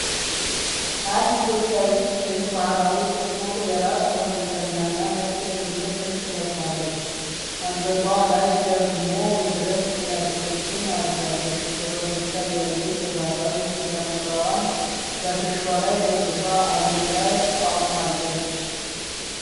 አንድ ኢትዮጵያዊት ሴት ባህላዊ ጥቁር የራስ መጠምጠሚያና ነጭ የክብር ልብስ ለብሳለች፡፡ አንገቷ ላይ ደግሞ የብረት ጌጣጌጦችን አድርጋለች፡፡ በፈገግታ እያየች የባህላዊ ዣንጥላዋን በትከሻዋ ላይ ደግፋ አየር ላይ አቆማለች፡፡